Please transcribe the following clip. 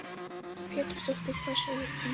Lillý Valgerður Pétursdóttir: Hvað segir þú?